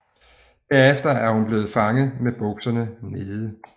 Derefter er hun blevet fanget med bukserne nede